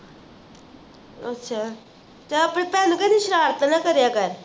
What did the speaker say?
ਅੱਛਾ ਆਪਣੀ ਭੈਣ ਨੂੰ ਕਹਿਦੀ ਸ਼ਰਾਰਤਾਂ ਨਾ ਕਰਿਆ ਕਰ